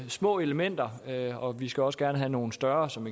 små elementer og vi skal også gerne have nogle større som